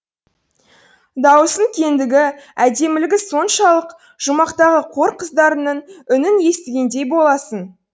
даусының кеңдігі әдемілігі соншалық жұмақтағы қор қыздарының үнін естігендей боласың